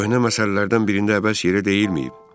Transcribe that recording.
Köhnə məsələlərdən birində əbəs yerə deyilməyib.